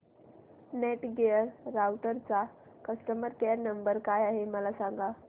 Netgear राउटरचा customer care number काय आहे मला सांग